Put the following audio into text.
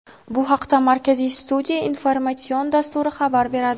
Bu haqida "Markaziy studiya" informatsion dasturi xabar beradi.